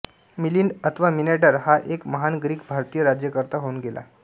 मिलिंद अथवा मिनॅंडर हा एक महान ग्रीक भारतीय राज्यकर्ता होऊन गेला